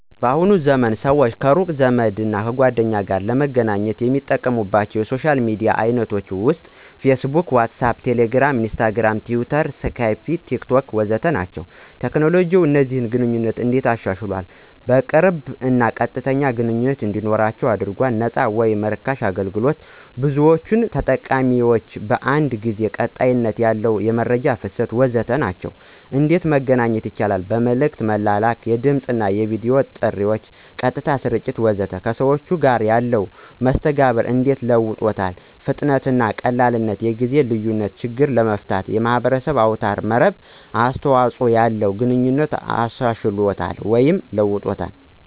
በአሁኑ ዘመን ሰዎች ከሩቅ ቤተሰብ እና ጓደኞቸው ጋር ለመገናኘት የሚጠቀሙባቻው የሶሻል ሚዲያ አይነቶች ውስጥ፦ ፌስቡክ፣ ዋትሳአፕ፣ ቴሌግራም፣ ኢንስታግርም፣ ትዊተር፣ ስካይፕ፣ ቴክቶክ... ወዘተ ናቸው። ቴክኖሎጂ ከእነዚህን ግንኘነቶች እንዴት አሻሻሏል? ቅርብ እና ቀጥተኛ ግንኝነት እንዲኖረው አድርጎል፣ ነፃ ወይም ራካሽ አገልግሎት፣ ብዙዎች ተጠቃሚዎች በአንድ ጊዜ፣ ቀጣይነት ያለው የመረጃ ፍሰት... ወዘተ ናቸው። እንዴት በመገናኛት ይቻላል? መልክት በመላክ፣ የድምፅና የቪዲዮ ጥሪ፣ ቀጥታ ስርጭት ናቸው። ከሰዎቹ ጋር ያለው መስተጋብር እንዴት ለውጦታል ? ፍጥነትና ቀላልነት፣ የጊዜ ልዪነት ችግር መፍትሔ፣ የማህበረሰብ አውታር መረብ አስተዋጽኦ ያለውን ግንኙነት አሻሽሎታል ወይም ለውጦታል።